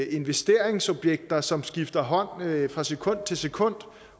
investeringsobjekter som skifter hånd fra sekund til sekund